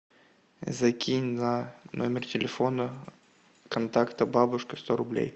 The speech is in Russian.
закинь на номер телефона контакта бабушка сто рублей